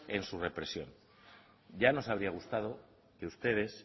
en su represión ya nos había gustado que ustedes